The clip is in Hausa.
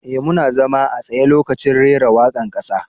E,muna zama a tsaye lokacin reran waka'n kasa.